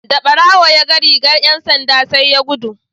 Da barawon ya ga rigar ’yan sandan sai ya gudu.